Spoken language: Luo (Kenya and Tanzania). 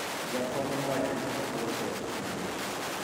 jakom owacho ni ool kod tije